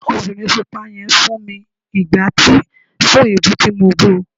obìnrín pupa yen fún mi igbáti fún ebú ti mọ bú